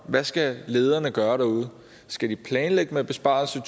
hvad skal lederne gøre derude skal de planlægge med besparelser